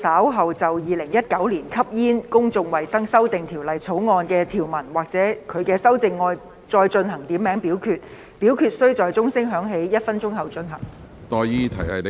主席，我動議若稍後就《2019年吸煙條例草案》的條文或其修正案進行點名表決，表決須在鐘聲響起1分鐘後進行。